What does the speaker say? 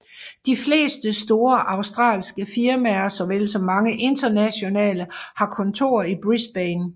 De fleste store australske firmaer såvel som mange internationale har kontorer i Brisbane